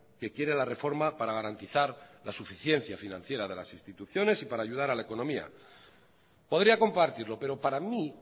que quiere la reforma para garantizar la suficiencia financiera de las instituciones y para ayudar a la economía podría compartirlo pero para mí